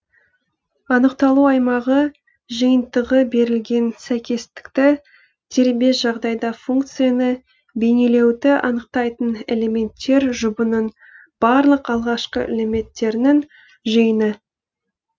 анықталу аймағы жиынтығы берілген сәйкестікті дербес жағдайда функцияны бейнелеуді анықтайтын элементтер жұбының барлық алғашқы элементтерінің жиыны